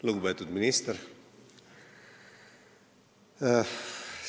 Lugupeetud minister!